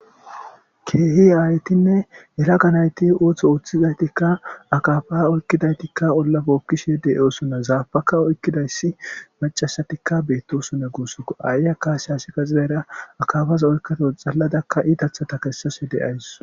keehi aaytinne hela ganayti ooththo ooththizaytikka akafa oykkidaytikka ollafe okkishe deoosonna zaabaka oykkidayssi macasatikka beettosonna guussuko aaye a kaase hasi kaxidayra akafaza oykkato xalladakka iitathata kessase deays